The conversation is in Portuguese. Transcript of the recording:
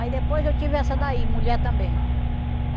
Aí depois eu tive essa daí, mulher também.